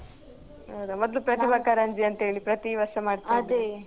ಹೌದ ಮೊದ್ಲು ಪ್ರತಿಭಾ ಕಾರಂಜಿ ಅಂತ ಹೇಳಿ ಪ್ರತಿ ವರ್ಷ ಮಾಡ್ತಾ ಇದ್ರಲ್ಲ